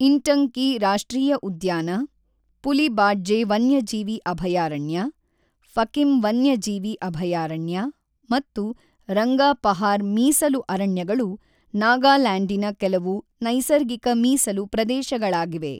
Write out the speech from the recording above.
ಇಂಟಂಕಿ ರಾಷ್ಟ್ರೀಯ ಉದ್ಯಾನ, ಪುಲಿ ಬಾಡ್ಜೆ ವನ್ಯಜೀವಿ ಅಭಯಾರಣ್ಯ, ಫಕಿಮ್ ವನ್ಯಜೀವಿ ಅಭಯಾರಣ್ಯ ಮತ್ತು ರಂಗಾಪಹಾರ್ ಮೀಸಲು ಅರಣ್ಯಗಳು ನಾಗಾಲ್ಯಾಂಡಿನ ಕೆಲವು ನೈಸರ್ಗಿಕ ಮೀಸಲು ಪ್ರದೇಶಗಳಾಗಿವೆ.